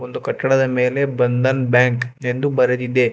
ಒಂದು ಕಟ್ಟಡದ ಮೇಲೆ ಬಂಧನ್ ಬ್ಯಾಂಕ್ ಎಂದು ಬರೆದಿದೆ.